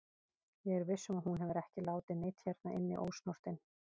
Ég er viss um að hún hefur ekki látið neinn hérna inni ósnortinn.